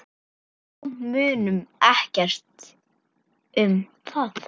Þá munaði ekkert um það.